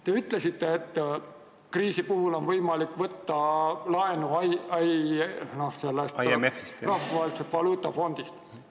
Te ütlesite, et kriisi puhul on võimalik võtta laenu Rahvusvahelisest Valuutafondist.